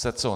Se co?